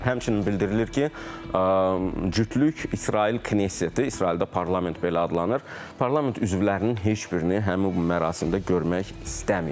Həmçinin bildirilir ki, cütlük İsrail knessetdə, İsraildə parlament belə adlanır, parlament üzvlərinin heç birini həmin bu mərasimdə görmək istəməyib.